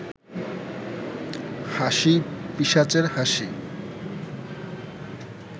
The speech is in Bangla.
হাসি পিশাচের হাসি